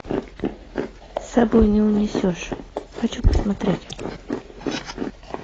с собой не унесешь хочу посмотреть